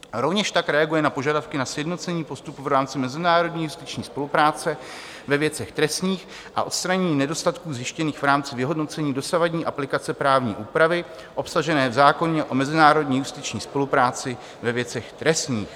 Rovněž tak reaguje na požadavky na sjednocení postupu v rámci mezinárodní justiční spolupráce ve věcech trestních a odstranění nedostatků zjištěných v rámci vyhodnocení dosavadní aplikace právní úpravy obsažené v zákoně o mezinárodní justiční spolupráci ve věcech trestních.